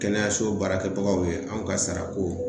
Kɛnɛyaso baarakɛbagaw ye , anw ka sara ko.